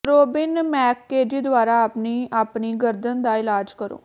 Robin McKenzie ਦੁਆਰਾ ਆਪਣੀ ਆਪਣੀ ਗਰਦਨ ਦਾ ਇਲਾਜ ਕਰੋ